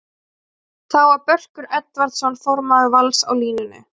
Þá var Börkur Edvardsson formaður Vals á línunni.